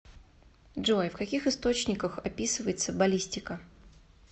джой в каких источниках описывается баллистика